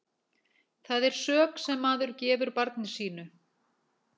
Það er sök sem maður gefur barni sínu.